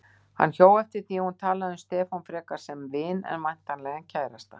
Hann hjó eftir því að hún talaði um Stefán frekar sem vin en væntanlegan kærasta.